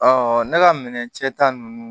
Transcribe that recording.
ne ka minɛ cɛ ta ninnu